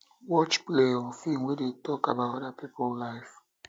watch plays or films wey dey talk wey dey talk about oda um pipo lives